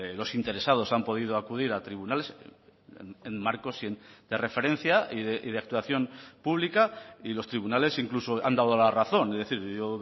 los interesados han podido acudir a tribunales en marcos de referencia y de actuación pública y los tribunales incluso han dado la razón es decir yo